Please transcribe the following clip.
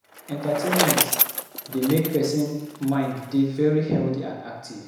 Entertaimment dey make person mind dey very healthy and active